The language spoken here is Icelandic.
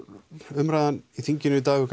umræðan í þinginu í dag hefur